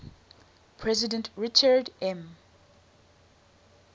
president richard m